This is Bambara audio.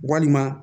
Walima